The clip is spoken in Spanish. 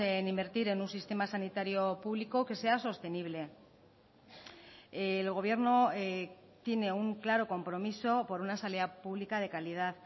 en invertir en un sistema sanitario público que sea sostenible el gobierno tiene un claro compromiso por una sanidad pública de calidad